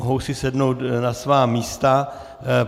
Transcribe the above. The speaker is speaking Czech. Mohou si sednout na svá místa.